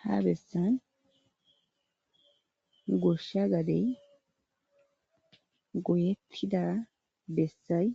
Ha bessan goshsha gadey goyettida bessay